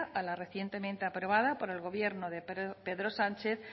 a la recientemente aprobada por el gobierno de pedro sánchez